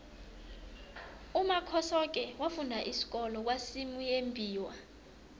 umakhosoke wafunda isikolo kwasimuyembiwa